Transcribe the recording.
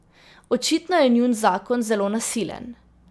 Očitno je njun zakon zelo nasilen.